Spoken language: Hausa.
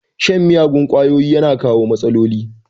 Shan miyagun kwayoyi yana kawo matsaloli